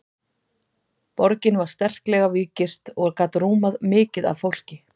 borgin var sterklega víggirt og gat rúmað mikið af fólki